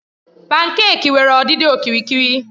Pankèki nwere ọdịdị okirikiri.